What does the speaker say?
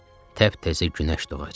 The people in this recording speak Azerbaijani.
Təp-təzə günəş doğacaq.